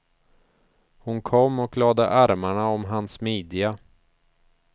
Hon kom och lade armarna om hans midja.